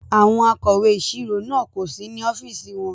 Àwọn akọ̀wé ìṣirò náà kò sí ní ọ́fíìsì wọn.